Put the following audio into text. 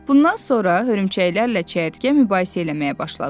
Bundan sonra hörümçəklərlə çəyirtkə mübahisə eləməyə başladılar.